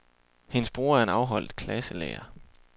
Hendes bror er en afholdt klasselærer.